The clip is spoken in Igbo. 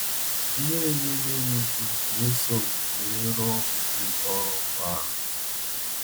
Ihere na-eme m ikwu n’eso m were rụọ udi ọrụ a.